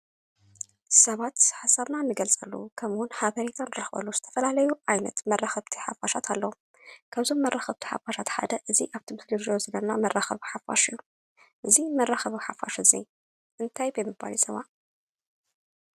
ሰባት ሓሳብና እንገልፀሉ ከምኡውን ሓበሬታ እንረክበሉ ዝተፈላለዩ ዓይነት መራከቢ ሓፋሽ ኣለው። ካብዞም መራከብቲ ሓፋሽ ሓደ እዙይ ኣብ ትምህርቲ ደረጃ መራከቢ ሓፋሽ እዩ። እዙይ መራከቢ ሓፋሽ እዙይ እንታይ ብምባል ይፅዋዕ?